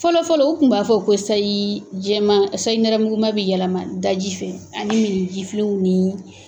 Fɔlɔ fɔlɔ u tun b'a fɔ ko syi jɛman sayinɛrɛmguman bɛ yɛlɛma daji fɛ ani mini jifilenw ni